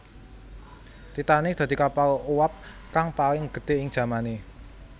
Titanic dadi kapal uwab kang paling gedhé ing jamané